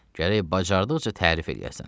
Gərək bacardıqca tərif eləyəsən.